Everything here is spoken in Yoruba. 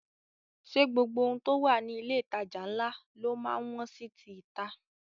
Ṣé gbogbo ohun tó wà ní ilé ìtajà ńlá ló má ń wọ́n sí ti ìta?